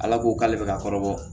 Ala ko k'ale bɛ ka kɔrɔbɔ